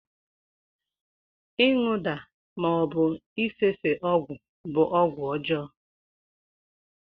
ịṅụda ma ọbụ ịfefe ọgwụ bụ ọgwụ ọjọọ.